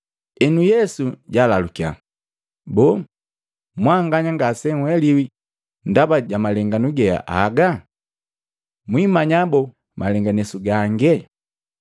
Enu Yesu jalalukya, “Boo, mwanganya ngasenheliwi ndaba ja malenganesu ge agaa? Mwimanya boo malenganesu gange?